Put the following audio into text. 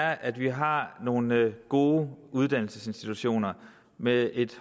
er at vi har nogle gode uddannelsesinstitutioner med